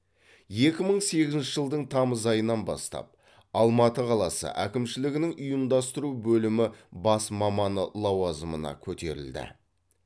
екі мың сегізінші жылдың тамыз айынан бастап алматы қаласы әкімшілігінің ұйымдастыру бөлімі бас маманы лауазымына көтерілді